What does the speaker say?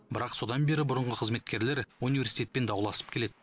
бірақ содан бері бұрынғы қызметкерлер университетпен дауласып келеді